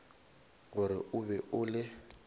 gore o be o le